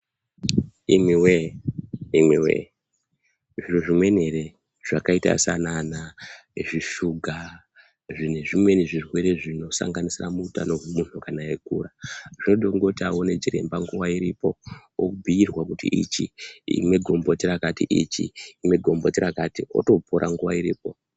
Imwi woyee, imwi woyee zviro zvimweni eree zvakaita saana ana zvishuga nezvimweni zvirwere zvinosanganisira muutano hwemuntu kana eikura. Zvoda kuti aone chiremba nguwa iripo obhuirwa kuti ichi imwa gomboti rakati, Ichi imwa gomboti rakati wotopora nguwa iripo.